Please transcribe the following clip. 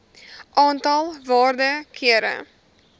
aantal waarde kere